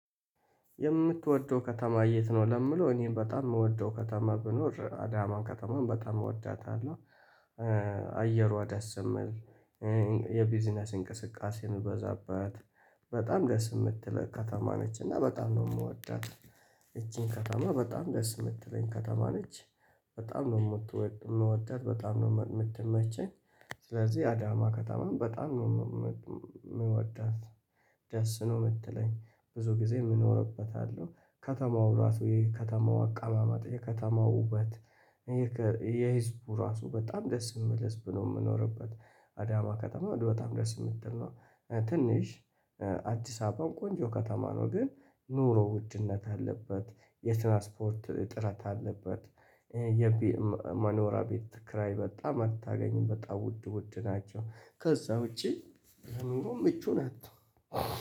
የምትወደው ከተማ የት ነው ለምለው እኔ በጣም የምወደው ከተማ ብኖር አዳማን ከተማም በጣም እወዳታለሁ። አየሯ ደስ የሚል የቢዝነስ እንቅስቃሴ የሚበዛበት በጣም ደስ የምትለኝ ከተማ ነች። እና በጣም ነው የምወዳት። ይቺን ከተማ በጣም ደስ የምትለኝ ከተማ ነች። በጣም ነው የምት የምወዳት በጣም ነው የምትመቸኝ። ስለዚህ አዳማ ከኸተማን በጣም የምወዳት። ደስ ነው የምትለኝ ብዙ ጊዜም እኖርበታለሁ። ከተማው ራሱ የከተማው አቀማማጥ የከተማው ውበት። የህዝቡ ራሱ በጣም ደስ የሚህል ህዝብ ነው የምኖርበት። አዳማ ከተማ ወደ በጣም ደስ የምትል ነው። ትንሽ አዲስ አበባን ቆንጆ ከተማ ነው። ግን ኑሮ ውድነት አለበት የትራንስፖርት እጥረት አለበት። የቤት መኖራቤት ክራይ በጣም አታገኝም በጣም ውድ ውድ ናቸው ከዛ ውጪ። ምቹ ናት